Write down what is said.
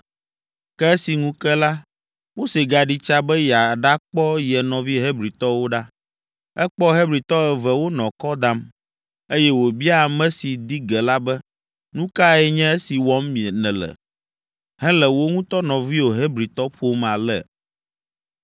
Ke esi ŋu ke la, Mose gaɖi tsa be yeaɖakpɔ ye nɔvi Hebritɔwo ɖa. Ekpɔ Hebritɔ eve wonɔ kɔ dam, eye wòbia ame si di ge la be, “Nu kae nye esi wɔm nèle, hele wò ŋutɔ nɔviwò Hebritɔ ƒom ale?”